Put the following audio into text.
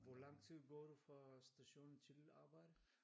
Hvor lang tid går du fra stationen til dit arbejde?